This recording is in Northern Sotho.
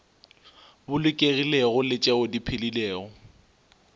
bolokegilego le tšeo di phedilego